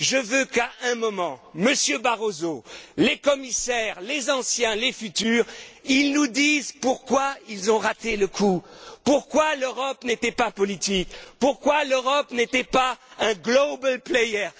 Je veux qu'à un moment, Monsieur Barroso, les commissaires les anciens, les futurs nous disent pourquoi ils ont raté le coup, pourquoi l'Europe n'était pas politique, pourquoi l'Europe n'était pas un global player